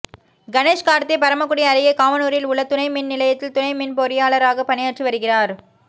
கணேஷ் கார்த்திக் பரமக்குடி அருகே காவனூரில் உள்ள துணை மின் நிலையத்தில் துணை மின் பொறியாளராக பணியாற்றி வருகிறார்